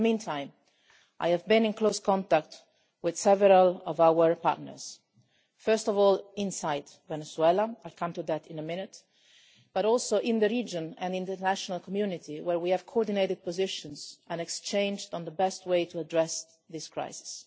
In the meantime, I have been in close contact with several of our partners, first of all, inside Venezuela I will come to that in a minute but also in the region and in the international community, where we have coordinated positions and exchanged views on the best way to address this crisis.